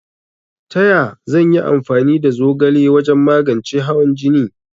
Taya zan yi amfani da zogala wajan magance hawan jine?